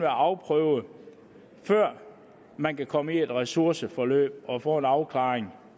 afprøvet før man kan komme i et ressourceforløb og få en afklaring